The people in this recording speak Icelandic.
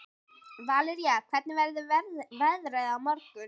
Valería, hvernig verður veðrið á morgun?